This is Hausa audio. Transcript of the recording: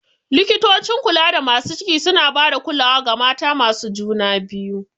Likitocin kulada masu ciki suna ba da kulawa ga mata masu juna biyu.